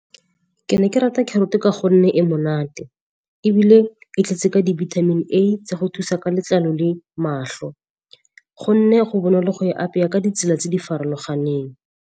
Ke ne ke rata carrot ka gonne e monate, ebile e tletse ka di-vitamin A tsa go thusa ka letlalo le matlho. Go nne go bonolo go e apaya ka ditsela tse di farologaneng.